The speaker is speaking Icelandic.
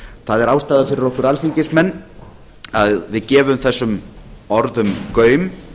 það er ástæða fyrir okkur alþingismenn að við gefum þessum orðum gaum